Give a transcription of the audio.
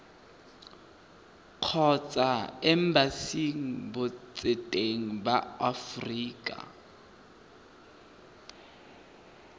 kgotsa embasing botseteng ba aforika